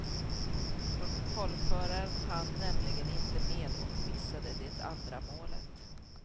Protokollföraren hann nämligen inte med och missade det andra målet.